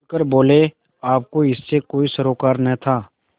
खुल कर बोलेआपको इससे कोई सरोकार न था